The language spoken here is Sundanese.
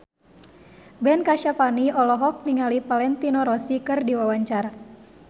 Ben Kasyafani olohok ningali Valentino Rossi keur diwawancara